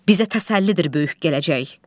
Bizə təsəllidir böyük gələcək.